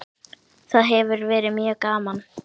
Það hefur verið mjög gaman.